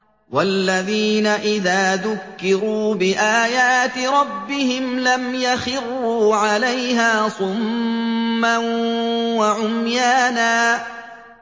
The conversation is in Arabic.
وَالَّذِينَ إِذَا ذُكِّرُوا بِآيَاتِ رَبِّهِمْ لَمْ يَخِرُّوا عَلَيْهَا صُمًّا وَعُمْيَانًا